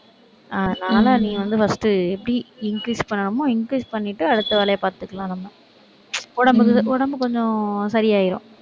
அதனால நீ வந்து first எப்படி increase பண்ணணுமோ, increase பண்ணிட்டு அடுத்த வேலையைப் பார்த்துக்கலாம் நம்ம. உடம்புக்கு, உடம்பு கொஞ்சம் சரியாயிரும்.